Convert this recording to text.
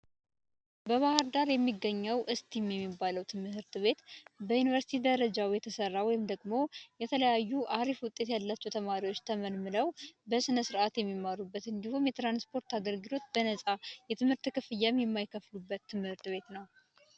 በባህርዳር የሚገኘው እስቲም የሚባለው ትምህርት ቤት በዩኒቨርስቲ ደረጃ የተሰራ ወይም ደግሞ የተለያዩ አሪፍ ውጤት ያላቸው ተማሪዎች ተመልምለው በስነስርዓት የሚማሩበት እንዲሁም የትራንስፖርት አገልግሎት በነፃ የትምህርት ክፍያም የማይከፍሉበት ትምህርት ቤት ነው።